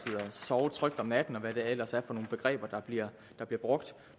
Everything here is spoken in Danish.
at sove trygt om natten og hvad det ellers er for nogle begreber der bliver brugt